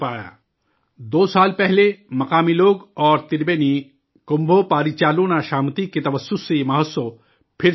دو سال پہلے، مقامی لوگ اور 'تربینی کمبھو پاریچالونا شامیتی' کے توسط سے، یہ مہوتسو پھر شروع ہوا ہے